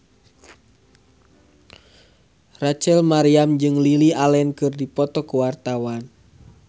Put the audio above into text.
Rachel Maryam jeung Lily Allen keur dipoto ku wartawan